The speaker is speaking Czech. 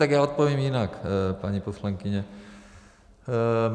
Tak já odpovím jinak, paní poslankyně.